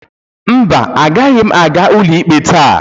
mba, agaghị m aga ụlọikpe taa